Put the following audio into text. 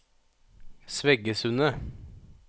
Sveggesundet